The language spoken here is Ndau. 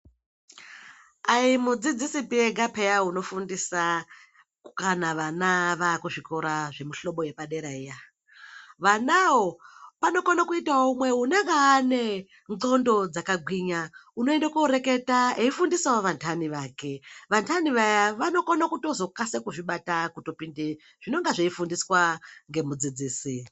Ayimudzidzisipi ega peya unofundisa kana vana vakuzvikora zvemuhlobo yepadera iya vanawo panokona kuita umwe unenge ane ndxondo dzakagwinya unoenda koreketa eifundisawo andani ake vandani vaya vanokone kutozokasira kuzvibata kutopinde zvinonga zveifundiswa nemudzidzisi.